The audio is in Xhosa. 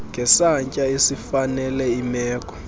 ngesantya esifanele imeko